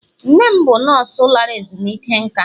nne m bụ nọọsụ lara ezumike nka.